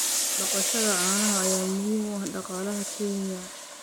Dhaqashada caanaha ayaa muhiim u ah dhaqaalaha Kenya.